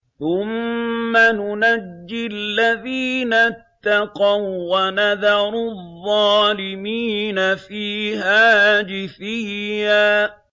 ثُمَّ نُنَجِّي الَّذِينَ اتَّقَوا وَّنَذَرُ الظَّالِمِينَ فِيهَا جِثِيًّا